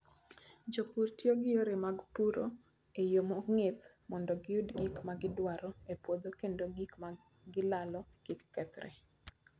Jopur tiyo gi yore mag pur e yo mong'ith mondo giyud gik ma gidwaro e puodho kendo gik ma gilalo kik kethre.